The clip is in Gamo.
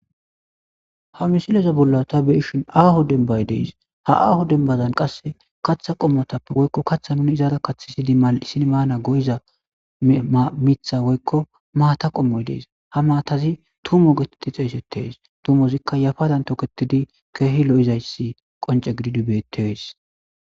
ha misileza bolla ta be7ishin aaho dembay dees ha aaho denbazan qasse kaththa qommotappe woykko katha nuni izaara kathidi mal7isin maanas go7iza mitha woykko maata qommoy dees ha maatazi tumo getetti xeeysettees tumozikka yafaran toketidi keehi lo7izayssi qonce gididi beetes